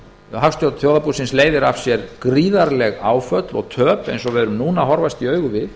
hagstjórn þjóðarbúsins leiðir af sér gríðarleg áföll og töp eins og við horfumst nú í augu við